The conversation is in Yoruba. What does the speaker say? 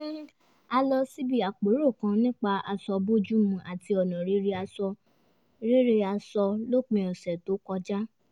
a lọ síbi àpérò kan nípa aṣọ bójúmu àti ọ̀nà rere aṣọ lópin ọ̀sẹ̀ tó kọjá